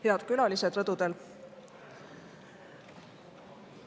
Head külalised rõdudel!